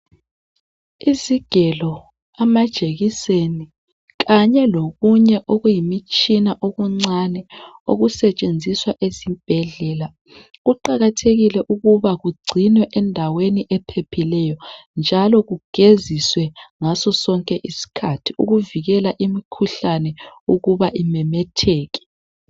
Izigelo, amajekiseni, kanye lokunye okuyimitshina okuncane okusetshenziswa ezibhedlela. Kuqakathekile ukuba kugcinwe endaweni ephephileyo, njalo kugeziswe ngasosonke isikhathi ukuvikela imikhuhlane ukuba imemetheke.